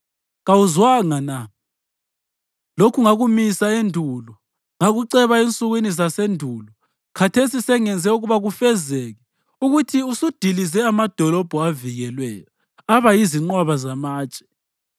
Kawuzwanga na? Lokhu ngakumisa endulo. Ngakuceba ensukwini zasendulo; khathesi sengenze ukuba kufezeke, ukuthi usudilize amadolobho avikelweyo aba yizinqwaba zamatshe.